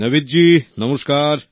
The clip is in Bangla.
নাবিদ জি নমস্কার